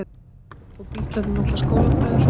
Og Bítlarnir náttúrlega skólabræður.